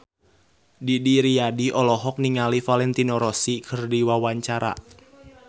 Didi Riyadi olohok ningali Valentino Rossi keur diwawancara